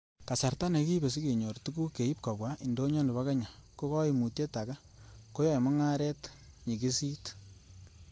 Kasarta nekiibe sikenyor tuguk keib kobwa indonyo nebo Kenya ko koimutyet age, koyoe mungaret nyigisit.